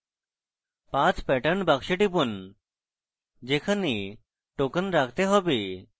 path pattern box টিপুন যেখানে token রাখতে চান